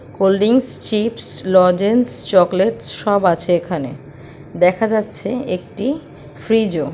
কোল্ডিংস chips lozenges chocolates সব আছে এখানে। দেখা যাচ্ছে একটি ফ্রিজ ও ।